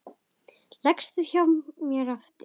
Leggstu þá hjá mér aftur.